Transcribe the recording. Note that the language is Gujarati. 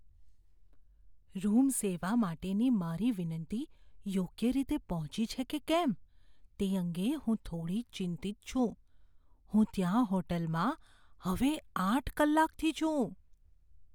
રૂમ સેવા માટેની મારી વિનંતી યોગ્ય રીતે પહોંચી છે કે કેમ તે અંગે હું થોડી ચિંતિત છું. હું ત્યાં હોટેલમાં હવે આઠ કલાકથી છું.